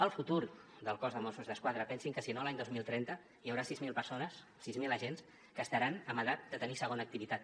el futur del cos de mossos d’esquadra pensin que si no l’any dos mil trenta hi haurà sis mil persones sis mil agents que estaran en edat de tenir segona activitat